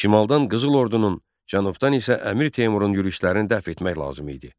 Şimaldan Qızıl ordunun, cənubdan isə Əmir Teymurun yürüşlərini dəf etmək lazım idi.